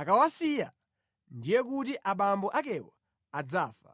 akawasiya ndiye kuti abambo akewo adzafa.’